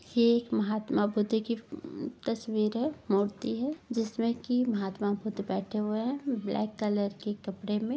ये एक महात्मा बुद्ध की उम्म तस्वीर है मूर्ति है जिसमें की महात्मा बुद्ध बेठे हुए हैं ब्लैक कलर के कपड़े में।